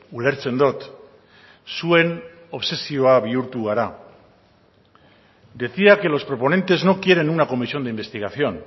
ulertzen dut zuen obsesio bihurtu gara decía que los proponentes no quieren una comisión de investigación